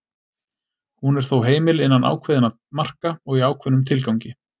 Hún er þó heimil innan ákveðinna marka og í ákveðnum tilgangi.